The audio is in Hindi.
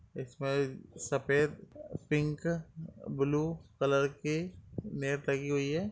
इसमें सफेद पिंक ब्लू कलर के मैप लगी हुई है।